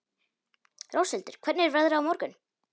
Róshildur, hvernig er veðrið á morgun?